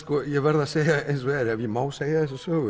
ég verð að segja eins og er ef ég má segja þessa sögu